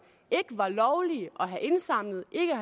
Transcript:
ikke var lovlige at have indsamlet